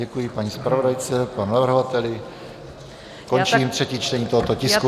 Děkuji paní zpravodajce, panu navrhovateli, končím třetí čtení tohoto tisku.